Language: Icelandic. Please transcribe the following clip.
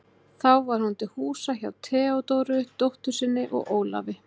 Þá var hún til húsa hjá Theódóru, dóttur sinni, og Ólafi.